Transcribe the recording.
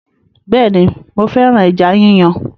Bẹẹni, mo féràn ẹja yíyàn